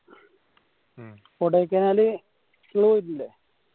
ഉം കൊടയ്ക്കനാല് ഇയ്യ്‌ പോയിട്ടില്ലേ